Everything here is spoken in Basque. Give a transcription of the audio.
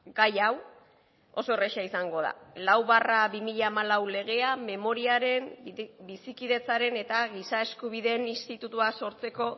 gai hau oso erraza izango da lau barra bi mila hamalau legea memoriaren bizikidetzaren eta giza eskubideen institutua sortzeko